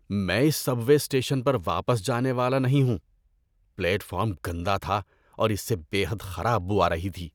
میں اس subway station پر واپس جانے والا نہیں ہوں۔ پلیٹ فارم گندا تھا اور اس سے بے حد خراب بو آ رہی تھی۔